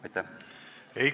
Aitäh!